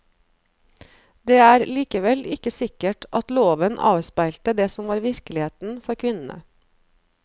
Det er likevel ikke sikkert at loven avspeilte det som var virkeligheten for kvinnene.